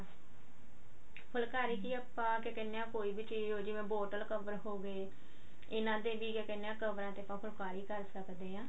ਫੂਲਕਰੀ ਕੀ ਕਹਿਨੇ ਹਾਂ ਕੋਈ ਵੀ ਚੀਜ਼ ਜਿਵੇਂ bottle cover ਹੋਗੇ ਇਹਨਾਂ ਦੇ ਕੀ ਕਹਿਨੇ ਆ cover ਤੇ ਆਪਾਂ ਫੁਲਕਾਰੀ ਕਰ ਸਕਦੇ ਹਾਂ